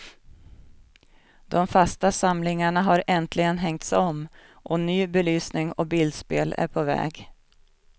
De fasta samlingarna har äntligen hängts om och ny belysning och bildspel är på väg.